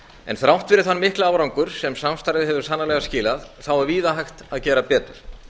en þrátt fyrir þann mikla árangur sem samstarfið hefur sannarlega skilað er víða hægt að gera betur